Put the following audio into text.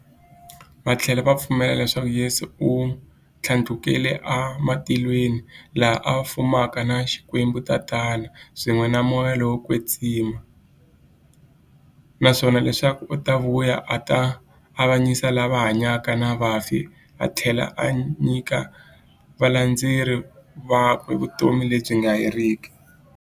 Vathlela va pfumela leswaku Yesu u thlandlukele e matilweni, laha a fumaka na Xikwembu-Tatana, swin'we na Moya lowo kwetsima, naswona leswaku u ta vuya a ta avanyisa lava hanyaka na vafi athlela a nyika valandzeri vakwe vutomi lebyi nga heriki.